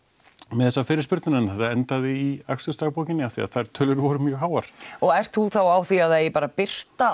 með þessar fyrirspurnir en þetta endaði í akstursdagbókinni af því að þær tölur voru mjög háar og ert þú þá á því að það eigi bara að birta